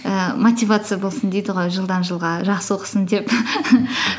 ііі мотивация болсын дейді ғой жылдан жылға жақсы оқысын деп